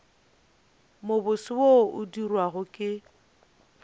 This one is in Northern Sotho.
mobose wo o dirwago ke